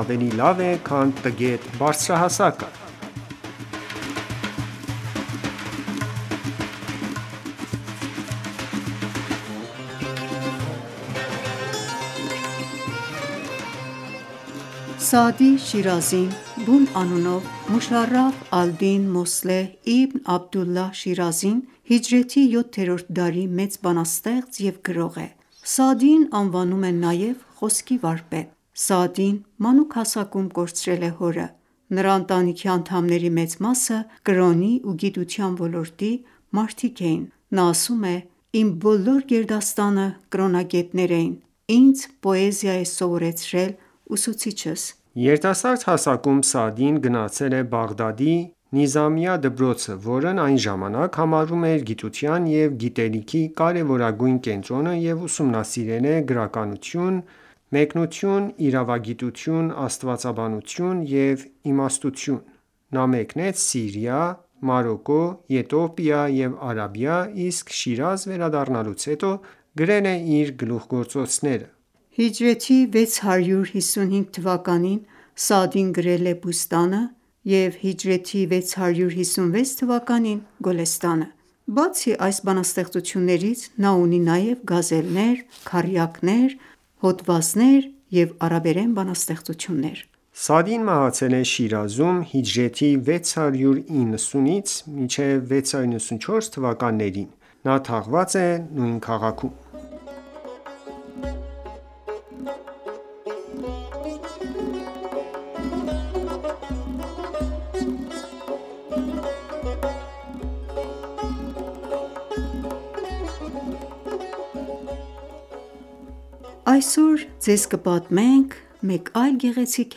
ավելի լավ է, քան տգետ բարձրահասակը: Սաադի Շիրազին բուն անունով Մուշարաֆ ալ-Դին Մոսլեհ իբն Աբդուլլահ Շիրազին հիջրեթի 7-րդ դարի մեծ բանաստեղծ և գրող է: Սաադիին անվանում են նաև խոսքի վարպետ։ Սաադին մանուկ հասակում կորցրել է հորը։ Նրա ընտանիքի անդամների մեծ մասը կրոնի ու գիտության ոլորտի մարդիկ էին։ Նա ասում է «Իմ բոլոր գերդաստանը կրոնագետներ էին, ինձ պոեզիա է սովորեցրել ուսուցիչս: Երիտասարդ հասակում Սաադին գնացել է Բաղդադի «Նիզամիա» դպրոցը, որն այն ժամանակ համարվում էր գիտության և գիտելիքի կարևորագույն կենտրոնը և ուսումնասիրել է գրականություն, մեկնություն, իրավագիտություն, աստվածաբանություն և իմաստություն։ Նա մեկնեց Սիրիա, Մարոկկո, Եթովպիա և Արաբիա, իսկ Շիրազ վերադառնալուց հետո գրել է իր գլուխգործոցները։ Հիջրեթի 655 թվականին Սաադին գրել է «Բուսթան»-ը, իսկ հիջրեթի 656 թվականին «Գոլեստան»-ը։ Բացի այս բանաստեղծություններից, նա ունի նաև գազելներ, քառյակներ և հոդվածներ ու արաբերեն բանաստեղծություններ: Սաադին մահացել է Շիրազում հիջրեթի 690-ից 694 թվականներին: Նա թաղված է նույն քաղաքում: Այսօր ձեզ կպատմենք մեկ այլ գեղեցիկ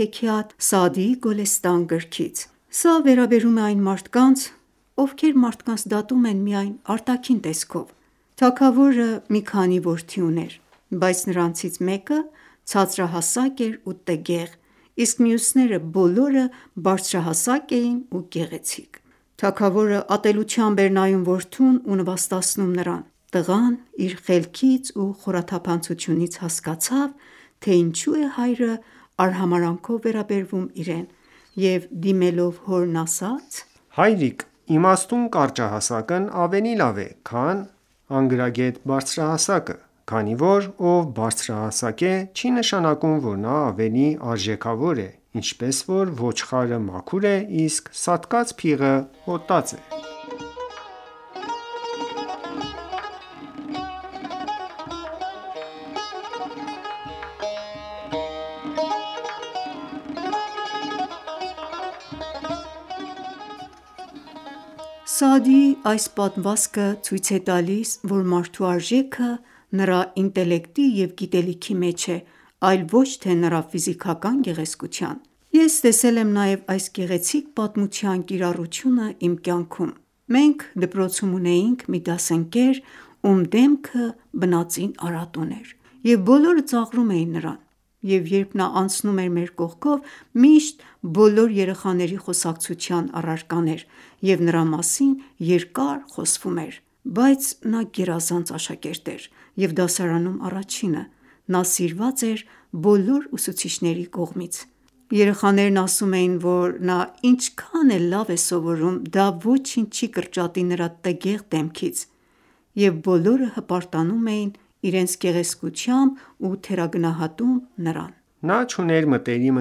հեքիաթ Սաադիի «Գոլեստան» գրքից: Սա վերաբերում է այն մարդկանց, ովքեր մարդկանց դատում են միայն արտաքին տեսքով: Թագավորը մի քանի որդի ուներ, բայց նրանցից մեկը ցածրահասակ էր ու տգեղ, իսկ մյուսները բոլորը բարձրահասակ էին ու գեղեցիկ։ Թագավորը ատելությամբ էր նայում որդուն ու նվաստացնում նրան։ Տղան իր խելքից ու խորաթափանցությունից հասկացավ, թե ինչու է հայրը արհամարհանքով վերաբերվում իրեն, և դիմելով հորն ասաց. «Հայրիկ Իմաստուն կարճահասակն ավելի լավ է, քան անգրագետ բարձրահասակը, քանի որ, ով բարձրահասակ է, չի նշանակում ,որ նա ավելի արժեքավոր է, ինչպես, որ ոչխարը մաքուր է, իսկ սատկած փիղը հոտած է»: Սաադիի այս պատմվածքը ցույց է տալիս, որ մարդու արժեքը նրա ինտելեկտի և գիտելիքի մեջ է, այլ ոչ թե նրա ֆիզիկական գեղեցկության: Ես տեսել եմ նաև այս գեղեցիկ պատմության կիրառությունն իմ կյանքում։ Մենք դպրոցում ունեինք մի դասընկեր ում դեմքը բնածին արատ ուներ, և բոլորը ծաղրում էին նրան և երբ նա անցնում էր մեր կողքով միշտ բոլոր երեխաների խոսակցության առարկան էր, և նրա մասին երկար խոսվում էր: Բայց նա գերազանց աշակերտ էր, և դասարանում առաջինը և սիրված էր բոլոր ուսուցիչների կողմից: Երեխաներն ասում էին, որ նա ինչքան էլ լավ է սովորում, դա ոչինչ չի կրճատի նրա տգեղ դեմքից։ Եվ բոլորը հպարտանում էին իրենց գեղեցկությամբ ու թերագնահատում նրան: Նա չուներ մտերիմ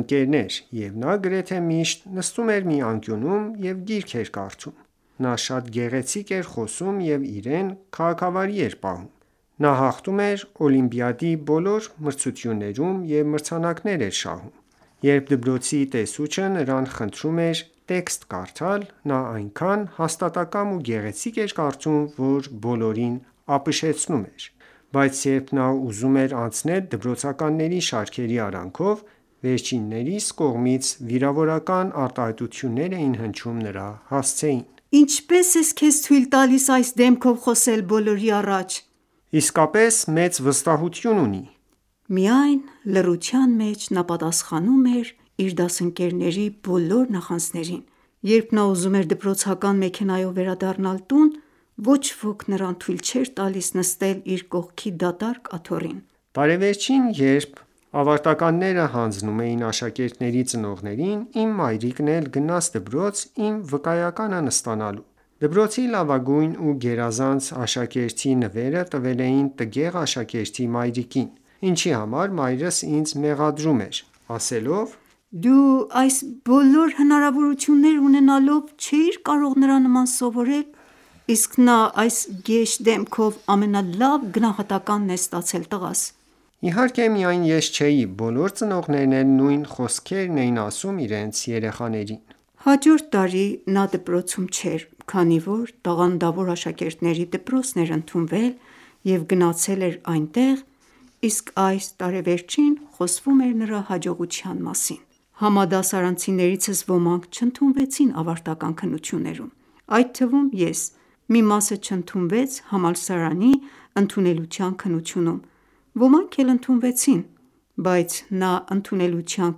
ընկերներ, և նա գրեթե միշտ նստում էր մի անկյունում և գիրք էր կարդում: Նա շատ գեղեցիկ էր խոսում ու իրեն քաղաքավարի էր պահում։ Նա հաղթում էր օլիմպիադայի բոլոր մրցույթներում և մրցանակներ էր շահում: Երբ դպրոցի տեսուչը նրան խնդրում էր տեքստ կարդալ, նա այնքան հաստատակամ ու գեղեցիկ էր կարդում, որ բոլորին ապշեցնում էր։ Բայց, երբ նա ուզում էր անցնել դպրոցականների շարքերի արանքով վերջիններիս կողմից վիրավորական արտահայտություններ էին հնչում նրա հասցեին։ _ Ինչպե՞ս ես քեզ թույլ տալիս այս դեմքով խոսել բոլորի առաջ։ - Իսկապես մեծ վստահություն ունի։ Միայն լռության մեջ նա պատասխանում էր իր դասընկերների բոլոր նախանձերին։ Երբ նա ուզում էր դպրոցական մեքենայով վերադառնալ տուն, ոչ ոք նրան թույլ չէր տալիս նստել իր կողքի դատարկ աթոռին։ Տարեվերջին, երբ ավարտականները հանձնում էին աշակերտների ծնողներին, իմ մայրիկն էլ գնաց դպրոց իմ վկայականն ստանալու: Դպրոցի լավագույն ու գերազանց աշակերտի նվերը տվել էին տգեղ աշակերտի մայրիկին, ինչի համար մայրս ինձ մեղադրում էր, ասելով՝ -Դու այս բոլոր հնարավորությունները ունենալով չէիր կարող նրա նման սովորել, իսկ նա այդ գեշ դեմքով ամենալավ գնահատականն է ստացել։ Իհարկե, միայն ես չէի, բոլոր ծնողներն էլ նույն խոսքերն էին ասում իրենց երեխաներին։ Հաջորդ տարի նա մեր դպրոցում չէր, քանի որ տաղանդավոր աշակերտներիի դպրոցն էր ընդունվել և գնացել էր այնտեղ, իսկ այդ տարեվերջին խոսվում էր նրա հաջողության մասին։ Համադասարանցիներիցս ոմանք չընդունվեցին ավարտական ​​քննություններում, այդ թվում՝ ես, մի ​​մասը չընդունվեց համալսարանի ընդունելության քննությունում, ոմանք էլ ընդունվեցին։ Բայց նա ընդունելության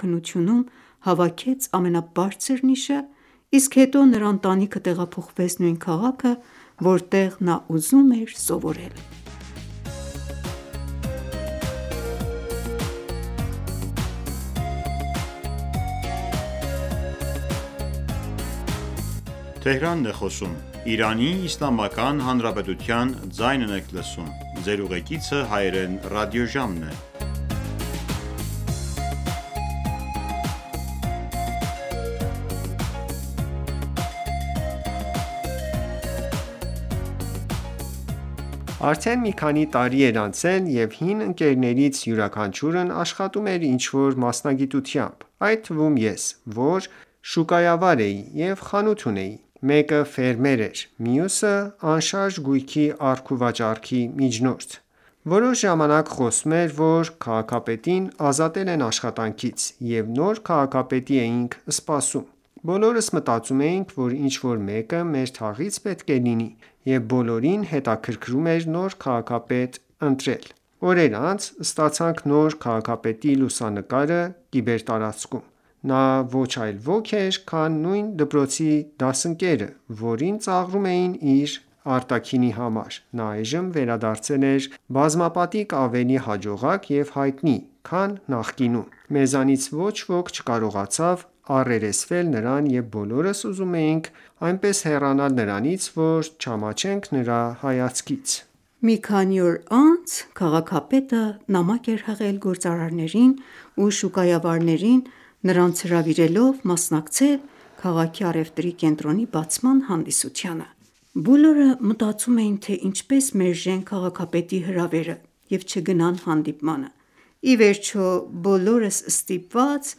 քննությունում հավաքեց ամենաբարձր նիշը, իսկ հետո նրա ընտանիքը տեղափոխվեց նույն քաղաքը, որտեղ նա ուզում էր սովորել։ Արդեն մի քանի տարի էր անցել, և հին ընկերներից յուրաքանչյուրն աշխատում էր ինչ-որ մասնագիտությամբ, այդ թվում՝ ես, որ շուկայավար էի և խանութ ունեի։ Մեկը ֆերմեր էր, մյուսը՝ անշարժ գույքի առք ու վաճառքի միջնորդ: Որոշ ժամանակ խոսվում էր, որ քաղաքապետին ազատել են աշխատանքից, և նոր քաղաքապետի էինք սպասում։ Բոլորս մտածում էինք, որ ինչ-որ մեկը մեր թաղից պետք է լինի, և բոլորին հետաքրքրում էր նոր քաղաքապետ ընտրել։ Օրեր անց ստացանք նոր քաղաքապետի լուսանկարը կիբերտարածքում։ Նա ոչ այլ ոք էր, քան նույն դպրոցի դասընկերը, որին ծաղրում էին իր արտաքինի համար, նա այժմ վերադարձել է բազմապատիկ ավելի հաջողակ և հայտնի, քան նախկինում: Մեզանից ոչ ոք չկարողացավ առերեսվել նրան և բոլորս ուզում էինք այնպես հեռանալ նրանից, որ չամաչենք նրա հայացքից։ Մի քանի օր անց քաղաքապետը նամակ էր հղել գործարարներին ու շուկայավարերին նրանց հրավիրելով մասնակցել քաղաքի առևտրի կենտրոնի բացման հանդիսությանը։ Բոլորը մտածում էին, թե ինչպես մերժեն քաղաքապետի հրավերը և չգնան հանդիպմանը։ Ի վերջո, բոլորս ստիպված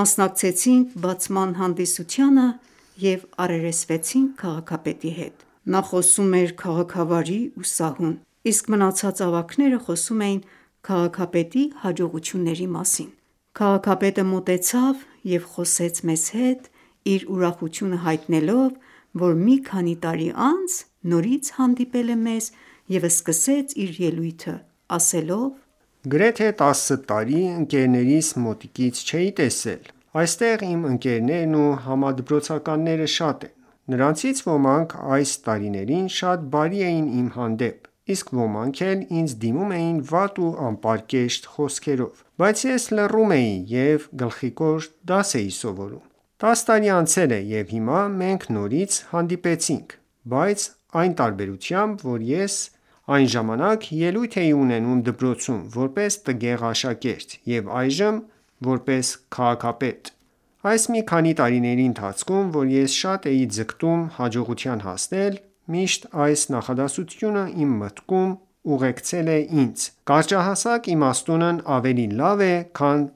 մասնակցեինք բացման հանդիսությանը և առերեսվեցինք քաղաքապետի հետ։ Նա խոսում էր քաղաքավարի ու սահուն: Իսկ մնացած ավագները խոսում էին քաղաքապետի հաջողությունների մասին։ Քաղաքապետը մոտեցավ և խոսեց մեզ հետ՝ իր ուրախությունը հայտնելով, որ մի քանի տարի անց նորից հանդիպել է մեզ և սկսեց իր ելույթը ասելով՝«Գրեթե տասը տարի ընկերներիս մոտիկից չէի տեսել։ Այստեղ իմ ընկերներն ու համադպրոցականները շատ են։ Նրանցից ոմանք այդ տարիներին շատ բարի էին իմ հանդեպ, իսկ ոմանք էլ ինձ դիմում էին վատ ու անպարկեշտ խոսքերով։ Բայց ես լուռ էի ու գլխիկոր դաս էի սովորում: Տաս տարի անցել է և հիմա, մենք նորից հանդիպեցինք, բայց այն տարբերությամբ, որ ես այն ժամանակ ելույթ էի ունենում դպրոցում՝ որպես տգեղ աշակերտ և այժմ՝ որպես քաղաքապետ։ Այս մի քանի տարիների ընթացքում, որ ես շատ էի ձգտում հաջողության հասնել, միշտ այս նախադասությունը իմ մտքում ուղեկցել է ինձ՝«Կարճահասակ իմաստունն ավելի լավ է, քան